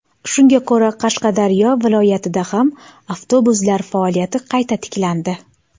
Shunga ko‘ra, Qashqadaryo viloyatida ham avtobuslar faoliyati qayta tiklandi.